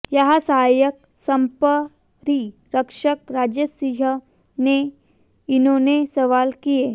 यहां सहायक संपरीक्षक राजेश सिंह से इन्होंने सवाल किए